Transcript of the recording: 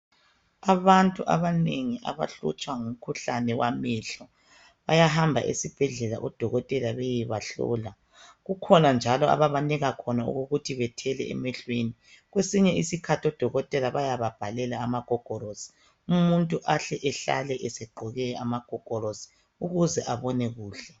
Abantu abanengi abahlutshwa ngumkhuhlane wamehlo bayahamba esibhedlela odokotela bayebahlola. Kukhona njalo ababanika khona okokuthi bathele emehlweni. Kwesinye isikhathi odokotela bayababhalela amagogorosi umuntu ahle ehlale egqoke amagogorosi ukuthi abone kuhle.